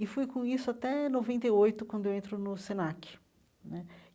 E fui com isso até noventa e oito, quando eu entro no Senac né.